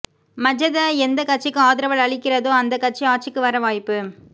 மஜத எந்த கட்சிக்கு ஆதரவு அளிக்கிறதோ அந்த கட்சி ஆட்சிக்கு வர வாய்ப்பு